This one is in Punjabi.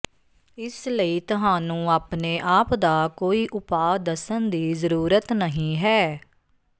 ਇਸ ਲਈ ਤੁਹਾਨੂੰ ਆਪਣੇ ਆਪ ਦਾ ਕੋਈ ਉਪਾਅ ਦੱਸਣ ਦੀ ਜ਼ਰੂਰਤ ਨਹੀਂ ਹੈ